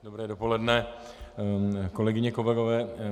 Dobré dopoledne, kolegyně, kolegové.